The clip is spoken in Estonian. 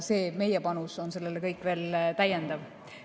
See meie panus on veel täiendav.